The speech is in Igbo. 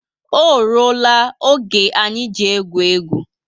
O rụọ la oge anyị ji egwu égwu